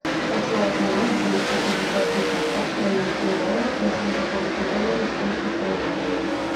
хочу обменять двести пятьдесят тысяч австралийских долларов на сингапурские доллары сколько стоит обмен